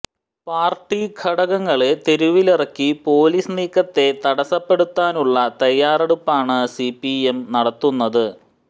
party ഘടകങ്ങളെ തെരുവിലിറക്കി police നീക്കത്തെ തടസ്സപ്പെടുത്താനുള്ള തയ്യാറെടുപ്പാണ് സിപിഎം നടത്തുന്നത്